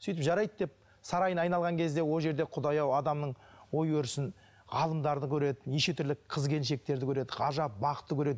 сөйтіп жарайды деп сарайын айналған кезде ол жерде құдай ау адамның ой өрісін ғалымдарды көреді неше түрлі қыз келіншектерді көреді ғажап бақты көреді